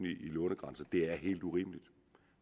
i lånegrænse det er helt urimeligt